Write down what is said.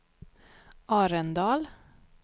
Arendal